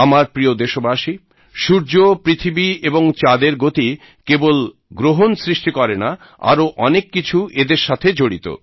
আমার প্রিয় দেশবাসী সূর্য পৃথিবী এবং চাঁদের গতি কেবল গ্রহন সৃষ্টি করেনা আরও অনেক কিছু এদের সাথে জড়িত